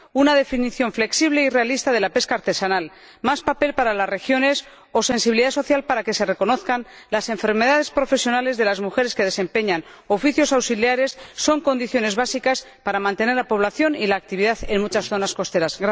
Una definición flexible y realista de la pesca artesanal, un papel reforzado para las regiones y sensibilidad social para que se reconozcan las enfermedades profesionales de las mujeres que desempeñan oficios auxiliares, son condiciones básicas para mantener la población y la actividad en muchas zonas costeras.